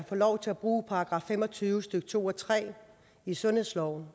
få lov til at bruge § fem og tyve stykke to og tre i sundhedsloven